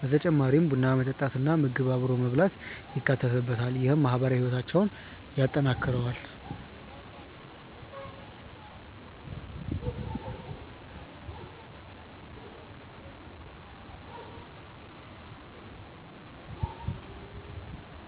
በተጨማሪም ቡና መጠጣት እና ምግብ አብሮ መብላት ይካተትበታል። ይህም ማህበራዊ ህይወታቸውን ያጠናክረዋል።